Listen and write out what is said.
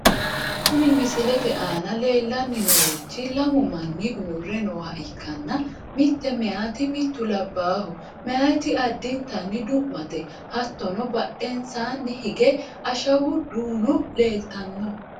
Kuni misilete aana leellanni noorichi lamu manni uurre nooha ikkanna , mitte meyeete mittu labbaaho. meyaati addintanni du'mate , hattono badhensaanni hige ashawu duuno leeltanno.